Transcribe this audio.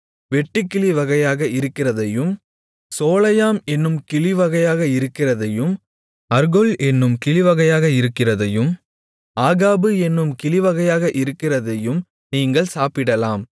வெட்டுக்கிளி வகையாக இருக்கிறதையும் சோலையாம் என்னும் கிளிவகையாக இருக்கிறதையும் அர்கொல் என்னும் கிளிவகையாக இருக்கிறதையும் ஆகாபு என்னும் கிளிவகையாக இருக்கிறதையும் நீங்கள் சாப்பிடலாம்